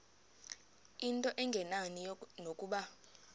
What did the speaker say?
into engenani nokuba